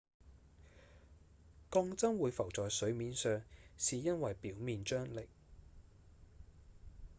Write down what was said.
鋼針會浮在水面上是因為表面張力